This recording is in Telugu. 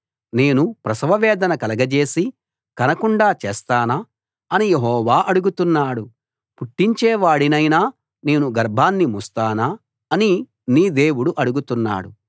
నేను ప్రసవవేదన కలగజేసి కనకుండా చేస్తానా అని యెహోవా అడుగుతున్నాడు పుట్టించేవాడినైన నేను గర్భాన్ని మూస్తానా అని నీ దేవుడు అడుగుతున్నాడు